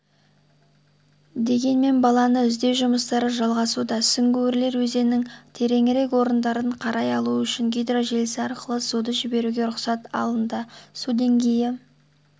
дегенмен баланы іздеу жұмыстары жалғасуда сүңгуірлер өзеннің тереңірек орындарын қарай алу үшін гидрожелісі арқылы суды жіберуге рұқсат алынды су деңгейі